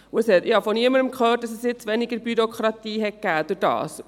Zudem habe ich von niemandem gehört, dass es dadurch weniger Bürokratie gegeben hätte.